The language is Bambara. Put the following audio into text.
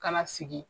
Kana sigi